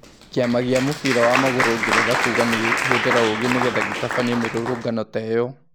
Kĩ ama gĩ a mũbira wa magũrũ Ngeretha kuga nigĩ kũhũthĩ ra 'ũgĩ ' nĩ getha gĩ tabanie mĩ rũrũngano ta ĩ yo.